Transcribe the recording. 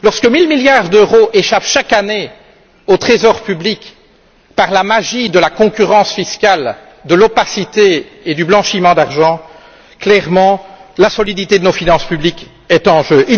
Lorsque mille milliards d'euros échappent chaque année au trésor public par la magie de la concurrence fiscale, de l'opacité et du blanchiment d'argent, clairement, la solidité de nos finances publiques est en jeu.